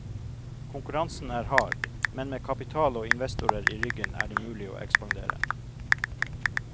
Konkurransen er hard, men med kapital og investorer i ryggen er det mulig å ekspandere.